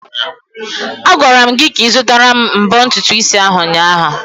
Agwara m gị ka ị zụtara m mbọ ntutu isi ahụ ụnyaahụ!